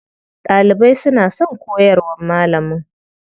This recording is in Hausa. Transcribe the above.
Ɗalibai suna son koyarwar malamin.